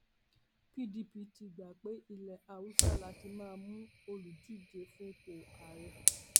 pdp ti gbà pé ilẹ haúsá la ti máa mú olùdíje fúnpò ààrẹ